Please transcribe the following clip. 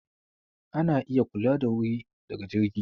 Ana iya kula da wuri daga jirgi.